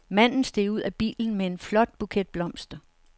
Manden steg ud af bilen med en flot buket blomster.